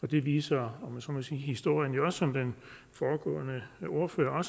det viser historien jo også som den foregående ordfører var